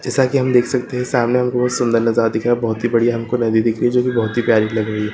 जैसा कि हम देख सकते हैं सामने हमको बहुत सुंदर नजारा दिख रहा है बहुत बढ़िया हमको नदी दिख रही जो की बहुत प्यारी लग रही है।